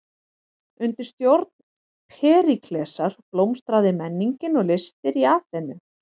Undir stjórn Períklesar blómstraði menningin og listir í Aþenu.